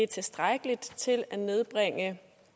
tilstrækkeligt til at nedbringe